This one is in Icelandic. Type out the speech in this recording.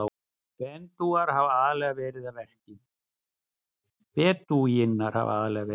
Bedúínar hafa aðallega verið að verki.